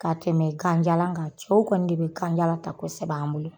Ka tɛmɛ ganjalan kan cɛw kɔni de bɛ ganjalan ta kosɛbɛ an bolo.